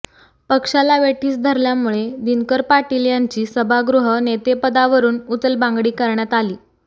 पक्षाला वेठीस धरल्यामुळे दिनकर पाटील यांची सभागृह नेतेपदावरून उचलबांगडी करण्यात आली